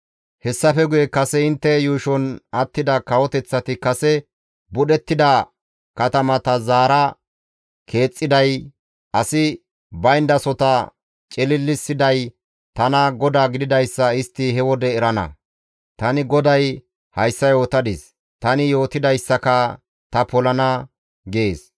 Hessafe guye kase intte yuushon attida kawoteththati kase budhettida katamata zaara keexxiday, asi bayndasota cililissiday tana GODAA gididayssa istti he wode erana. Tani GODAY hayssa yootadis; tani yootidayssaka ta polana› gees.